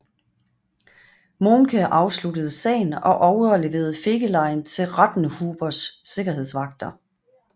Mohnke afsluttede sagen og overleverede Fegelein til Rattenhubers sikkerhedsvagter